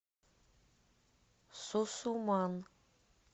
сусуман